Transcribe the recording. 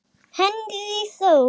Henry Þór.